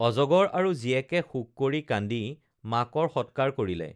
অজগৰ আৰু জীয়েকে শোক কৰি কান্দি মাকৰ স‍‍ৎকাৰ কৰিলে